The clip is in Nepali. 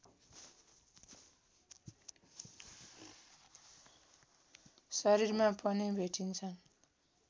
शरीरमा पनि भेटिन्छन्